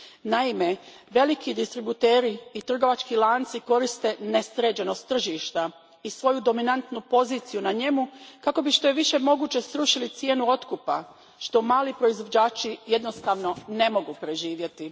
Naime, veliki distributeri i trgovački lanci koriste nesređenost tržišta i svoju dominantnu poziciju na njemu kako bi što je više moguće srušili cijenu otkupa, što mali proizvođači jednostavno ne mogu preživjeti.